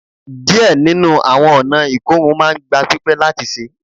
Diẹ ninu awọn ọna ikorun maa n gba pipẹ lati ṣe